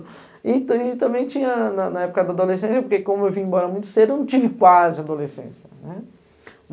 E também tinha, na, na época da adolescência, porque como eu vim embora muito cedo, eu não tive quase adolescência, né?